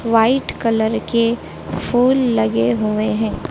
White colour के फूल लगे हुए हैं।